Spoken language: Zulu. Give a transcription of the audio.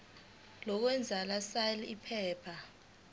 lokwengeza sal iphepha